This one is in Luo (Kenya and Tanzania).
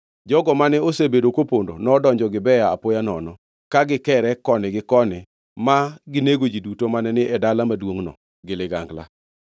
Jogo mane osebedo kopondo nodonjo Gibea apoya nono, ka gikere koni gi koni ma ginego ji duto mane ni e dala maduongʼno gi ligangla.